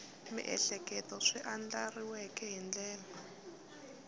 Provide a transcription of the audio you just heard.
miehleketo swi andlariweke hi ndlela